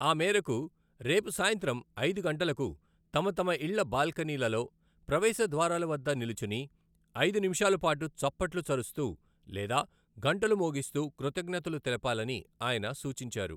ఆ మేరకు రేపు సాయంత్రం ఐదు గంటలకు తమతమ ఇళ్ల బాల్కనీలలో, ప్రవేశ ద్వారాలవద్ద నిలుచుని ఐదు నిమిషాలపాటు చప్పట్లు చరుస్తూ లేదా గంటలు మోగిస్తూ కృతజ్ఙతలు తెలపాలని ఆయన సూచించారు.